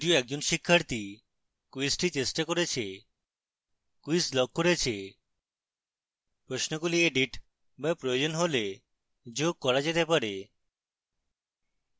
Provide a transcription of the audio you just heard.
যদিও একজন শিক্ষার্থী কুইজটি চেষ্টা করেছে quiz লক রয়েছে প্রশ্নগুলি এডিট be প্রয়োজন হলে যোগ করা যেতে পারে